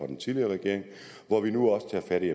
den tidligere regering og at vi nu også tager fat i